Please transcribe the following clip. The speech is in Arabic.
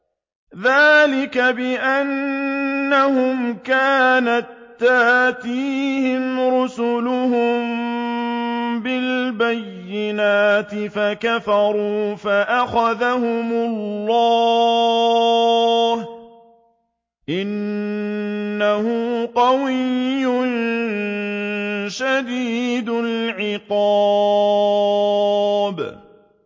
ذَٰلِكَ بِأَنَّهُمْ كَانَت تَّأْتِيهِمْ رُسُلُهُم بِالْبَيِّنَاتِ فَكَفَرُوا فَأَخَذَهُمُ اللَّهُ ۚ إِنَّهُ قَوِيٌّ شَدِيدُ الْعِقَابِ